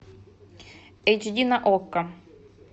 эйч ди на окко